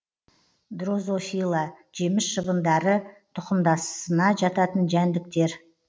дрозофила жеміс шыбыныдары тұқымдасына жататын жәндіктер